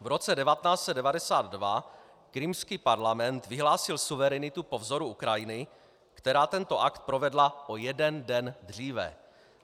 V roce 1992 krymský parlament vyhlásil suverenitu po vzoru Ukrajiny, která tento akt provedla o jeden den dříve.